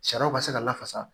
Sariyaw ka se ka lafasa